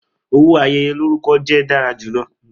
Owo ayeye lorukọ jẹ dara julọ.